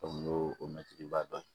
n'o mɛntiriba dɔn